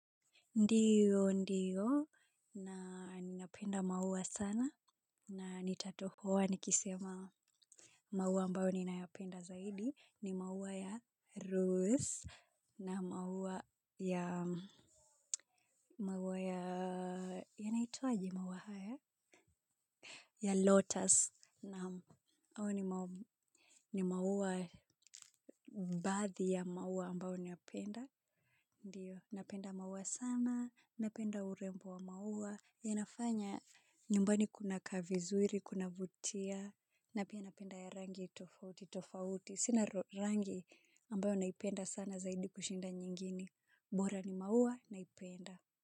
Ndiyo, ndiyo, na ninapenda maua sana, na nitatohoa nikisema maua ambayo ninayapenda zaidi, ni maua ya rose, na maua ya, maua ya, yanaitwaje maua haya, ya lotus, naam, au ni maua, ni maua baadhi ya maua ambayo ninapenda, ndio, napenda maua sana, napenda urembo wa maua, yanafanya nyumbani kuna kaa vizuri, kunavutia, na pia napenda ya rangi tofauti, tofauti. Sina rangi ambayo naipenda sana zaidi kushinda nyingini. Bora ni maua naipenda.